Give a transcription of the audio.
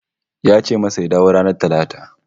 Ya ce masa ya dawo ranar Talata